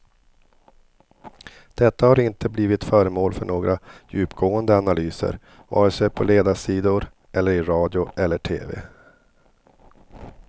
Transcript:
Detta har inte blivit föremål för några djupgående analyser, vare sig på ledarsidor eller i radio eller tv.